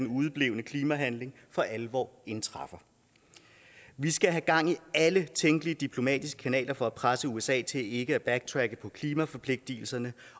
udeblevne klimahandlinger for alvor indtræffer vi skal have gang i alle tænkelige diplomatiske kanaler for at presse usa til ikke at backtracke på klimaforpligtelserne